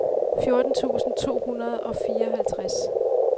fjorten tusind to hundrede og fireoghalvtreds